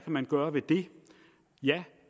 man gøre ved det ja